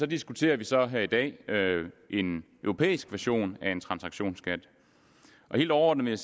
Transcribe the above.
diskuterer vi så her i dag en europæisk version af en transaktionsskat og helt overordnet